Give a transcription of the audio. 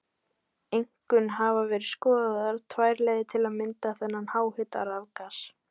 Einkum hafa verið skoðaðar tvær leiðir til að mynda þetta háhita rafgas.